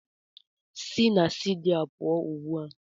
Si na stidiyo a pụọ ugbu a!